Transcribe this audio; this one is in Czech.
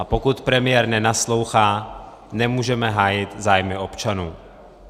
A pokud premiér nenaslouchá, nemůžeme hájit zájmy občanů.